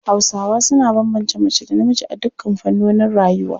Hausawa suna bambance mace da namiji a dukkan fannonin rayuwa.